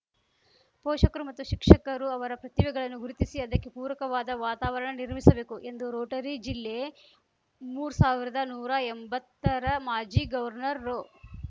ಪೋಷಕರು ಮತ್ತು ಶಿಕ್ಷಕರು ಅವರ ಪ್ರತಿಭೆಗಳನ್ನು ಗುರುತಿಸಿ ಅದಕ್ಕೆ ಪೂರಕವಾದ ವಾತಾವರಣ ನಿರ್ಮಿಸಬೇಕು ಎಂದು ರೋಟರಿ ಜಿಲ್ಲೆ ಮೂರ್ ಸಾವಿರ್ದಾ ನೂರಾ ಎಂಬತ್ತರ ಮಾಜಿ ಗೌರ್ನರ್‌ ರೋ